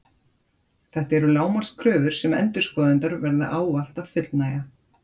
Þetta eru lágmarkskröfur sem endurskoðendur verða ávallt að fullnægja.